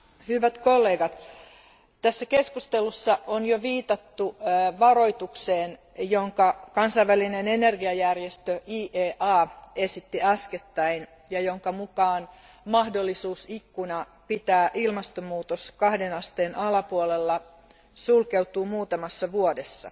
Arvoisa puhemies, hyvät kollegat, tässä keskustelussa on jo viitattu varoitukseen, jonka kansainvälinen energiajärjestö IEA esitti äskettäin ja jonka mukaan mahdollisuusikkuna pitää ilmastonmuutos kahden asteen alapuolella sulkeutuu muutamassa vuodessa.